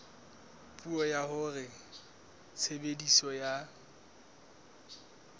puo ya hore tshebediso ya